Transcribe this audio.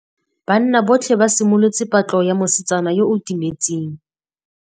Banna botlhê ba simolotse patlô ya mosetsana yo o timetseng.